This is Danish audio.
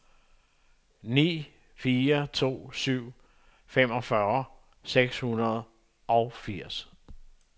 ni fire to syv femogfyrre seks hundrede og firs